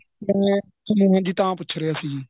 ਤਾਂ ਪੁੱਛ ਰਿਹਾ ਸੀ